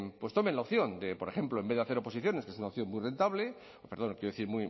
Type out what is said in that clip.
pues tomen la opción de por ejemplo en vez de hacer oposiciones que es una opción